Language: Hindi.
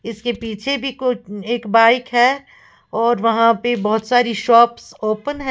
इसके पीछे भी कोई एक बाइक है और वहां पे बहुत सारी शॉप्स ओपन हैं।